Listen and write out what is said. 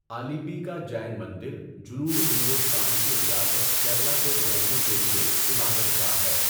آلیپی کا جین مندر جنوبی ہندوستان کی ریاست کیرلا کے جینوں کے لیے عبادت گاہ ہے۔